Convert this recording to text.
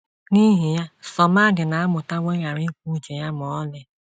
N’ihi ya, Somadina amụtawo ịghara ikwu uche ya ma ọlị.